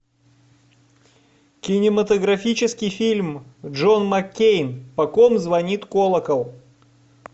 кинематографический фильм джон маккейн по ком звонит колокол